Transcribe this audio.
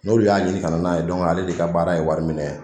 N'olu y'a ɲini kana n'a ye ale de ka baara ye wari minɛ ye.